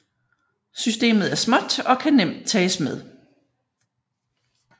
Systemet er småt og kan nemt tages med